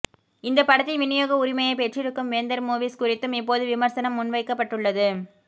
இந்தப் படத்தின் விநியோக உரிமையைப் பெற்றிருக்கும் வேந்தர் மூவிஸ் குறித்தும் இப்போது விமர்சனம் முன்வைக்கப்பட்டுள்ளது